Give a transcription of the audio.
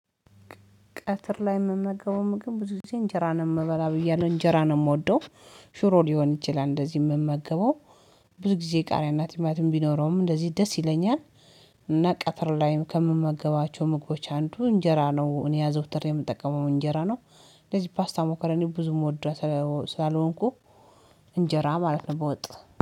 ቀትር ላይ የምመገበው ምግብ ብዙ ጊዜ እንጀራን የምበላ ብያለሁ እንጀራ ነው የምወደው ሽሮ ሊሆን ይችላል እንደዚህ የምመገበው ብዙ ጊዜ ቃሪያ እና ቲማቲም ቢኖረውም እንደዚህ ደስ ይለኛል እና ቀትር ላይም ከምመገባቸው ምግቦች አንዱ እንጀራ ነው። እኔ አዘውትሬ የምጠቀመው እንጀራ ነው። እንደዚህ ፓስታ መኮሮኒ ብዙም ሞድራ ስላልሆንኩ እንጀራ ማለት ነው በወጥ